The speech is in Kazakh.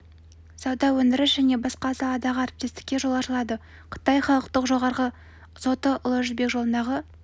сауда өндіріс және басқа саладағы әріптестікке жол ашылады қытай халықтық жоғарғы соты ұлы жібек жолындағы